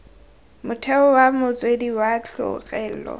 motheo wa motswedi wa tlholego